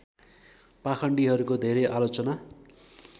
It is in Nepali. पाखण्डीहरूको धरै आलोचना